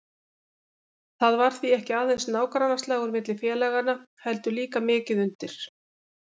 Það var því ekki aðeins nágrannaslagur milli félaganna heldur líka mikið undir.